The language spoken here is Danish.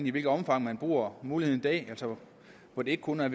i hvilket omfang man bruger muligheden i dag altså hvor det ikke kun er